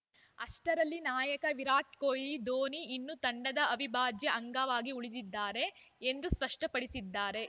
ಅಷ್ಟರಲ್ಲಿ ನಾಯಕ ವಿರಾಟ್‌ ಕೊಹ್ಲಿ ಧೋನಿ ಇನ್ನೂ ತಂಡದ ಅವಿಭಾಜ್ಯ ಅಂಗವಾಗಿ ಉಳಿದಿದ್ದಾರೆ ಎಂದು ಸ್ಪಷ್ಟಪಡಿಸಿದ್ದಾರೆ